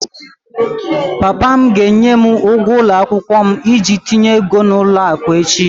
Papa m ga-enye m ụgwọ ụlọ akwụkwọ m iji tinye ego n'ụlọ akụ echi